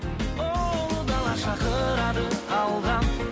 ұлы дала шақырады алға